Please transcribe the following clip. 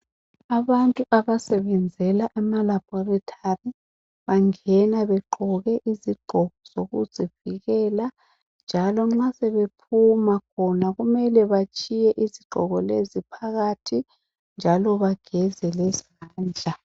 Abantu abasebenzela amalabholithali bangena begqoke izigqoko zokuzivikela, njalo nxa sebephuna khona kumele batshiye izigqoko lezi phakathi njalo bangeze izandla.